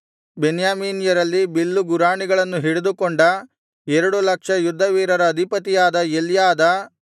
ಬೆನ್ಯಾಮೀನ್ಯರಲ್ಲಿ ಬಿಲ್ಲುಗುರಾಣಿಗಳನ್ನು ಹಿಡಿದುಕೊಂಡ ಎರಡು ಲಕ್ಷ ಯುದ್ಧವೀರರ ಅಧಿಪತಿಯಾದ ಎಲ್ಯಾದ